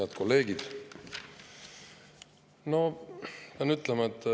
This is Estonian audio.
Head kolleegid!